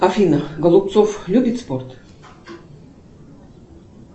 афина голубцов любит спорт